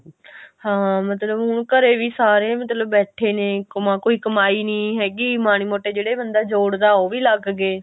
ਹਾਂ ਮਤਲਬ ਹੁਣ ਘਰੇ ਵੀ ਸਾਰੇ ਮਤਲਬ ਬੈਠੇ ਨੇ ਕੰਮਾ ਕੋਈ ਕਮਾਈ ਨੀ ਹੈਗੀ ਮਾੜੇ ਮੋਟੇ ਜਿਹੜੇ ਬੰਦਾ ਜੋੜ ਉਹ ਵੀ ਲੱਗ ਗਏ